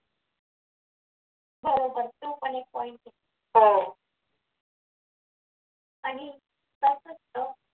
बरोबर तो पण एक point आहे आणि कसं असतं